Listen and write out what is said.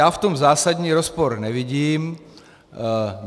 Já v tom zásadní rozpor nevidím.